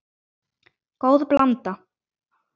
Góð blanda.